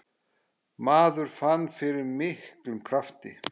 Maður fann fyrir miklum krafti.